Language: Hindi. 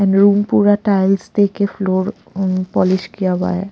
एंड रूम पूरा टाइल्स दे के फ्लोर अ पॉलिश किया हुआ है।